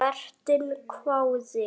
Vertinn hváði.